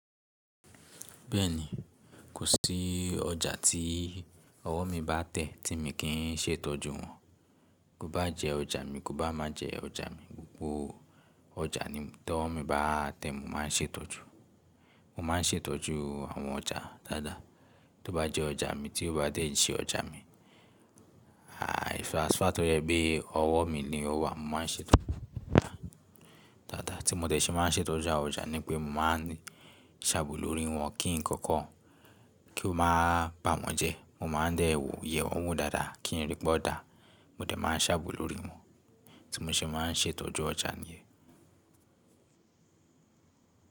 Bẹ́ẹ̀ni, kò sí ọjà tí ọwọ́ mi bá tẹ̀ tí mi kì í ṣe ìtọ́jú wọn. Kó bá jẹ ọjà mi, kó bá má jẹ ọjà mi, gbogbo ọjà ní tó mi bá tẹ̀ mo má n ṣe ìtọ́jú. Mo má n ṣe ìtọ́jú àwọn ọjà dáadáa. Tó bá jẹ́ ọjà mi, tí ó bá tẹ̀ jí ọjà mi, transfertob yẹ pé ọwọ́ mi ni ó wà. Mo ma n ṣe ìtọ́jú dáadáa. Tí mo de ṣe má n ṣe ìtọ́jú àwọn ọjà ni pé mo ma n sàabo lórí wọn kí nǹkan kí ó máa bà mọ́ jẹ. Mo ma n dẹ́ wo, ye wọn dáadáa kí n rí pé ó dà. Mo dẹ̀ ma n sàabo lórí wọn. Tí mo ṣe má n ṣe ìtọ́jú ọjà ni.